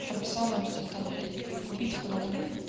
прописал мне вот эти таблетки говорит купить панангин